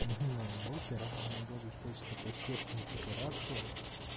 мыльная опера иногда достаточно потешные декорациях